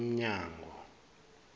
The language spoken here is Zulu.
umnyango